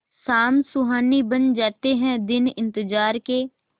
शाम सुहानी बन जाते हैं दिन इंतजार के